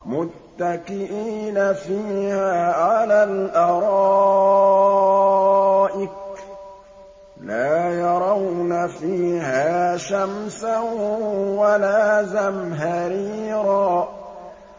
مُّتَّكِئِينَ فِيهَا عَلَى الْأَرَائِكِ ۖ لَا يَرَوْنَ فِيهَا شَمْسًا وَلَا زَمْهَرِيرًا